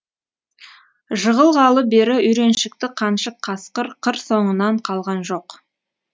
жығылғалы бері үйреншікті қаншық қасқыр қыр соңынан қалған жоқ